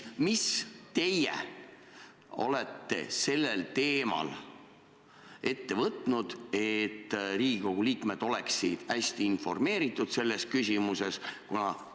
Mis teie olete sellel teemal ette võtnud, et Riigikogu liikmed oleksid hästi informeeritud selles küsimuses?